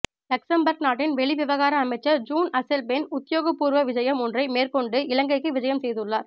Luxembourg நாட்டின் வெளிவிவகார அமைச்சர் ஜீன் அசெல்பேர்ன் உத்தியோகப்பூர்வ விஜயம் ஒன்றை மேற்கொண்டு இலங்கைக்கு விஜயம் செய்துள்ளார்